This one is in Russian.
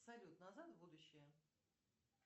салют назад в будущее